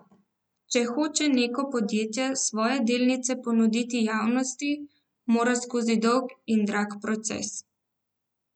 Če hoče neko podjetje svoje delnice ponuditi javnosti, mora skozi dolg in drag proces.